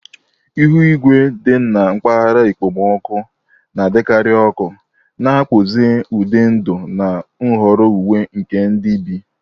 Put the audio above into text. Ihu igwe dị na mpaghara okpomọkụ na-adịkarị ọkụ, na-akpụzi ụdị ndụ na nhọrọ uwe nke ndị bi.